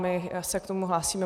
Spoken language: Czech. My se k tomu hlásíme.